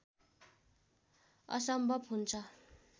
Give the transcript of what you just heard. असम्भव हुन्छ